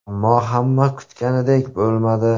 Ammo hamma kutganidek bo‘lmadi.